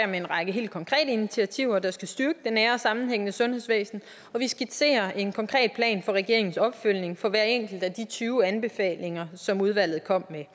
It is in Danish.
med en række helt konkrete initiativer der skal styrke det nære og sammenhængende sundhedsvæsen og vi skitserer en konkret plan for regeringens opfølgning på hver enkelt af de tyve anbefalinger som udvalget kom med